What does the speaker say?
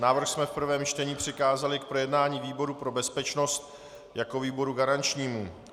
Návrh jsme v prvém čtení přikázali k projednání výboru pro bezpečnost jako výboru garančnímu.